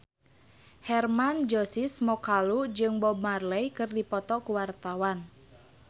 Hermann Josis Mokalu jeung Bob Marley keur dipoto ku wartawan